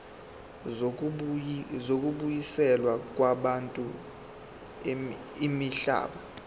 zokubuyiselwa kwabantu imihlaba